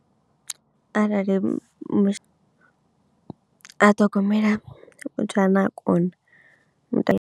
Arali a ṱhogomela muthu ane a kona.